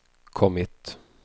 kommit